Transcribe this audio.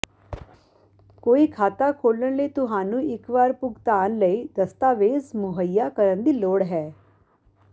ਕੋਈ ਖਾਤਾ ਖੋਲ੍ਹਣ ਲਈ ਤੁਹਾਨੂੰ ਇੱਕ ਵਾਰ ਭੁਗਤਾਨ ਲਈ ਦਸਤਾਵੇਜ਼ ਮੁਹੱਈਆ ਕਰਨ ਦੀ ਲੋੜ ਹੈ